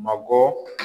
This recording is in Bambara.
Mabɔ